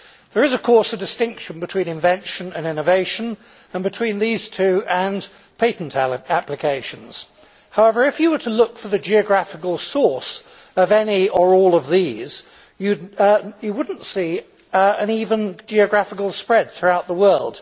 There is of course a distinction between invention and innovation, and between these two and patent applications. However, if you were to look for the geographical source of any or all of these, you would not see an even geographical spread throughout the world.